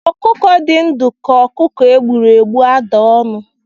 Ọkụkọ dị ndụ ka ọkụkọ e gbụrụ egbu ada ọnụ